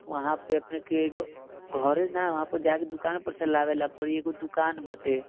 वहां पे अपने के घरे ने वहां पे जाके दुकान पर से लावे ला पड़ी एगो दुकान बाटे।